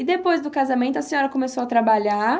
E depois do casamento a senhora começou a trabalhar?